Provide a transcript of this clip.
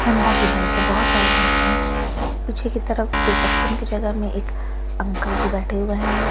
Honda की bike है बहुत सारी बाइक है पीछे की तरफ रीसेप्शन की जगह में एक अंकल जी बैठे हुए हैं जो --